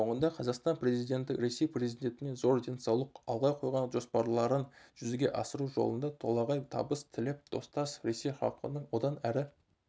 соңында қазақстан президенті ресей президентіне зор денсаулық алға қойған жоспарларын жүзеге асыру жолында толағай табыс тілеп достас ресей халқының одан әрі